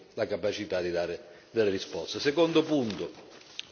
Secondo punto politica estera, Ucraina.